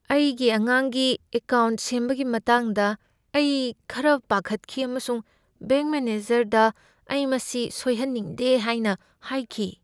ꯑꯩꯒꯤ ꯑꯉꯥꯡꯒꯤ ꯑꯦꯀꯥꯎꯟꯠ ꯁꯦꯝꯕꯒꯤ ꯃꯇꯥꯡꯗ ꯑꯩ ꯈꯔ ꯄꯥꯈꯠꯈꯤ ꯑꯃꯁꯨꯡ ꯕꯦꯡꯛ ꯃꯦꯅꯦꯖꯔꯗ ꯑꯩ ꯃꯁꯤ ꯁꯣꯏꯍꯟꯅꯤꯡꯗꯦ ꯍꯥꯏꯅ ꯍꯥꯏꯈꯤ ꯫